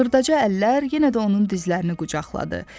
Xırdaca əllər yenə də onun dizlərini qucaqladı.